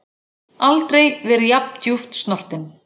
Aldrei verið jafn djúpt snortinn.